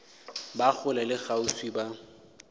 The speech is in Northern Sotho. ba kgole le kgauswi ba